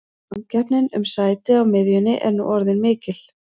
Samkeppnin um sæti á miðjunni er nú orðin mikil.